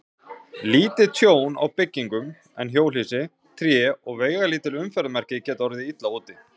Lítið tjón á byggingum, en hjólhýsi, tré og veigalítil umferðarmerki geta orðið illa úti.